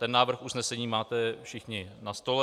Ten návrh usnesení máte všichni na stole.